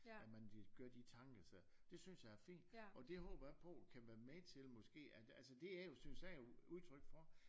At man de øh gør de tanker sig det synes jeg er fint og det håber jeg på kan være med til måske at at altså det er jo synes jeg jo udtryk for